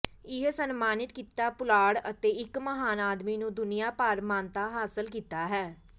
ਇਹ ਸਨਮਾਨਿਤ ਕੀਤਾ ਪੁਲਾੜ ਅਤੇ ਇੱਕ ਮਹਾਨ ਆਦਮੀ ਨੂੰ ਦੁਨੀਆ ਭਰ ਮਾਨਤਾ ਹਾਸਲ ਕੀਤਾ ਹੈ